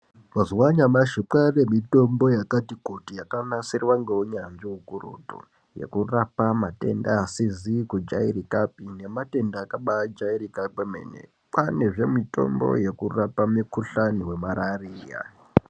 Mazuwaanyamashi kwaane mitombo yakati kuti yakanasirwa ngeunyanzvi ukurutu yekurapa matenda asizi kujairikapi nematenda akabajairika kwemene kwaanezve mitombo yekurapa mukuhlani wemarariya.